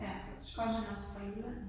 Ja. Kom han også fra Jylland?